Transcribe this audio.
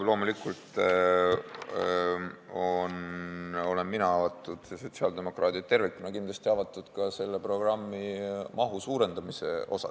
Loomulikult olen ma avatud ja sotsiaaldemokraadid tervikuna on kindlasti avatud selle programmi mahu suurendamise asjus.